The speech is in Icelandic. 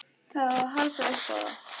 Það á að halda upp á það.